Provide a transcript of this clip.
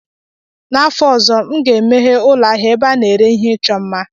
N'afọ ọzọ, m ga-emeghe ụlọ ahịa ebe a na-ere ihe ịchọ mma